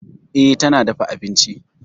E, tana dafa abinci.